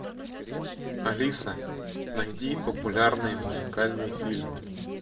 алиса найди популярные музыкальные фильмы